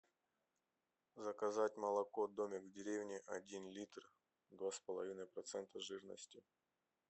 заказать молоко домик в деревне один литр два с половиной процента жирности